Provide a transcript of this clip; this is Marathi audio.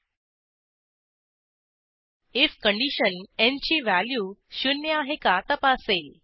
आयएफ कंडिशन न् ची व्हॅल्यू शून्य आहे का तपासेल